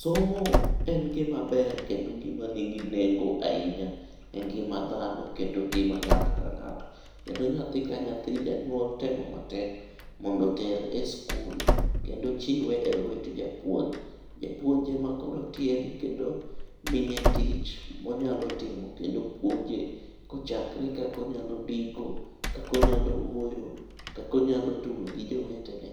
Somo en gima ber kendo gima nigi nengo ahinya e ngima dhano kendo ngima ng'ato ka ng'ato. Kendo nyathi ka nyathi, janyuol temo matek mondo oter e skul kendo chiwe e lwet japuonj. Japuonj ema koro tiege kendo miye tich monyalo timo kendo puonje kochakore kaka onyalo ndiko ,kaka onyalo wuoyo, kaka onyalo tugo gi jowetene